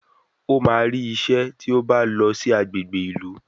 Ó máa rí isẹ́ tí ó bá lọ sí agbègbè ìlú